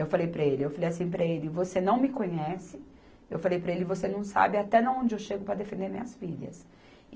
Eu falei para ele, eu falei assim para ele, você não me conhece, eu falei para ele, você não sabe até onde eu chego para defender minhas filhas.